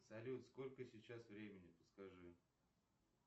салют сколько сейчас времени подскажи